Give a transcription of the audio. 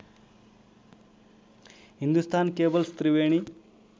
Hindustan cables Triveni